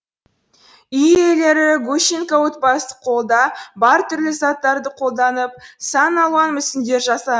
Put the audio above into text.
үй иелері гущенко отбасы қолда бар түрлі заттарды қолданып сан алуан мүсіндер жаса